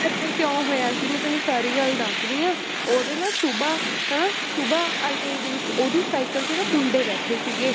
ਏਦਾਂ ਕਿਉਂ ਹੋਇਆ ਸੀ ਮੈਂ ਤੈਨੂੰ ਸਾਰੀ ਗੱਲ ਦੱਸਦੀ ਹਾਂ ਉਹਦੇ ਨਾ ਸੁਬਾ ਹਨਾ ਸੁਬਾ ITI ਦੇ ਵਿੱਚ ਉਹਦੀ ਸਾਇਕਲ ਤੇ ਨਾ ਮੁੰਡੇ ਬੈਠੇ ਸੀਗੇ